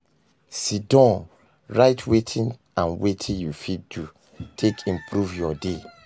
sidon write wetin and wetin yu fit do take improve yur day